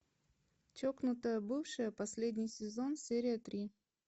чокнутая бывшая последний сезон серия три